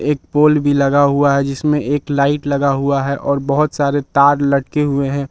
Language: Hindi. एक पोल भी लगा हुआ है जिसमें एक लाइट लगा हुआ है और बहुत सारे तार लटके हुए हैं।